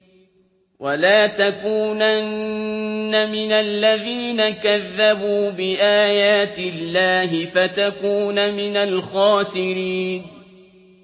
وَلَا تَكُونَنَّ مِنَ الَّذِينَ كَذَّبُوا بِآيَاتِ اللَّهِ فَتَكُونَ مِنَ الْخَاسِرِينَ